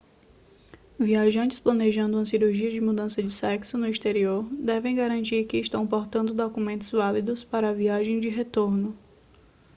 viajantes planejando uma cirurgia de mudança de sexo no exterior devem garantir que estão portando documentos válidos para a viagem de retorno